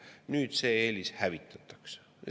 Nüüd see eelis hävitatakse.